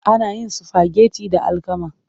Ana yin sifageti da alkama.